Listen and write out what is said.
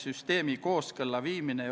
Antud eelnõu kohta on mul öelda järgmist.